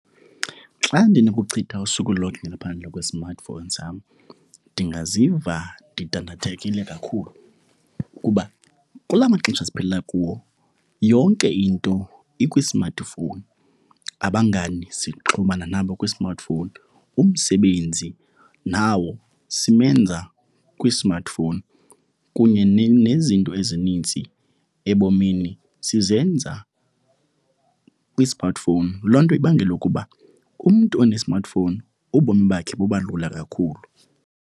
Xa ndinokuchitha usuku lonke ngaphandle kwe-smartphone sam ndingaziva ndidandathekile kakhulu kuba kula maxesha siphila kuwo yonke into ikwi-smartphone. Abangani sixhumana nabo kwi-smartphone, umsebenzi nawo simenze kwi-smartphone kunye nezinto ezininzi ebomini sizenza kwi-smartphone. Loo nto ibangela ukuba umntu one-smartphone, ubomi bakhe buba lula kakhulu.